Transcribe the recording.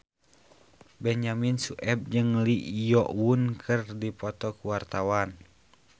Benyamin Sueb jeung Lee Yo Won keur dipoto ku wartawan